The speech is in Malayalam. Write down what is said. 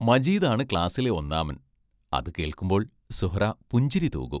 മജീദാണു ക്ലാസ്സിലെ ഒന്നാമൻ അതു കേൾക്കുമ്പോൾ സുഹ്റാ പുഞ്ചിരിതൂകും.